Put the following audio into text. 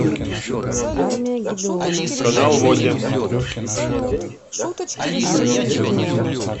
канал восемь